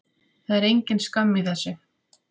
Það er engin skömm í þessu.